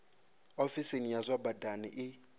ofisi ya zwa badani i